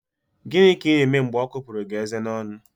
Gịnị ka Ị na-eme mgbe ọ kupụrụ gị eze n'ọnụ?